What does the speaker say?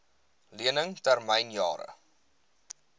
lening termyn jare